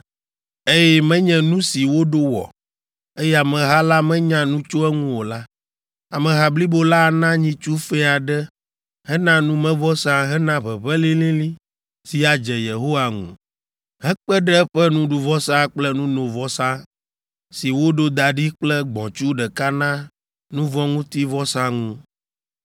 eye menye nu si woɖo wɔ, eye ameha la menya nu tso eŋu o la, ameha blibo la ana nyitsu fɛ̃ aɖe hena numevɔsa hena ʋeʋẽ lĩlĩlĩ si adze Yehowa ŋu hekpe ɖe eƒe nuɖuvɔsa kple nunovɔsa si woɖo da ɖi kple gbɔ̃tsu ɖeka na nu vɔ̃ ŋuti vɔsa ŋu.